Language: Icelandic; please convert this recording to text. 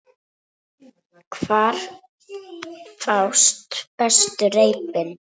Hvar fást bestu reipin?